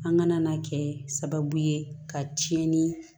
An ka na na kɛ sababu ye ka tiɲɛni